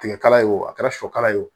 Tigɛ kala ye o a kɛra sɔ kala ye o